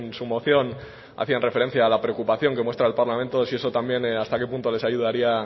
su moción hacían referencia a la preocupación que muestra el parlamento si eso también hasta qué punto les ayudaría